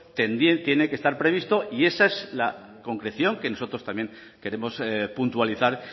también tiene que estar previsto y esa es la concreción que nosotros también queremos puntualizar